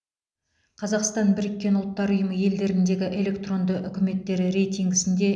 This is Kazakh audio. қазақстан біріккен ұлттар ұйымы елдеріндегі электронды үкіметтер рейтингісінде